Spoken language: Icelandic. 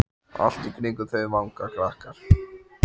Allt í kringum þau vanga krakkar.